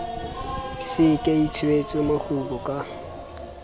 se ke itshwetse mokgubu ka